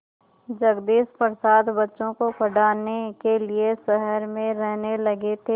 जगदीश प्रसाद बच्चों को पढ़ाने के लिए शहर में रहने लगे थे